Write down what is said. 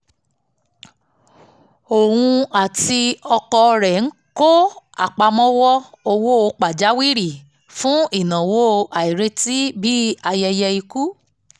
óun àti ọkọ rẹ̀ ń kọ́ àpamọ́ owó pajawiri fún ináwó àìrètí bíi ayẹyẹ ikú